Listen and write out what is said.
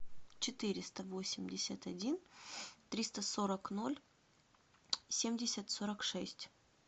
четыреста восемьдесят один триста сорок ноль семьдесят сорок шесть